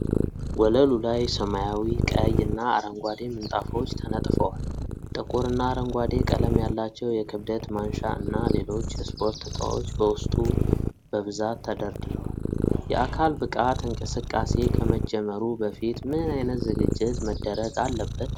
ወለሉ ላይ ሰማያዊ፣ ቀይ እና አረንጓዴ ምንጣፎች ተነጥፈዋል። ጥቁር እና አረንጓዴ ቀለም ያላቸው የክብደት ማንሻ እና ሌሎች የስፖርት ዕቃዎች በውስጡ በብዛት ተደርድረዋል። የአካል ብቃት እንቅስቃሴ ከመጀመሩ በፊት ምን አይነት ዝግጅት መደረግ አለበት?